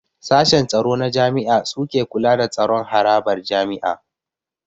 Sashen tsaro na jami'a suke kula da tsaron harabar jami'a